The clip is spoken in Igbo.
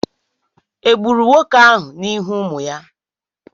Egburu nwere ahụ n'ihu ụmụ ya?